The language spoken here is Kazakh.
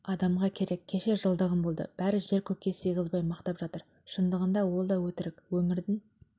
адамға керек кеше жылдығым болды бәрі жер-көкке сыйғызбай мақтап жатыр шындығында ол да өтірік өмірдің